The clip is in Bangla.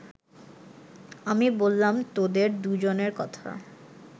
আমি বললাম তোদের দু’জনের কথা